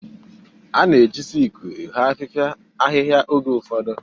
A na-eji siku ehoo ahịhịa oge ụfọdụ.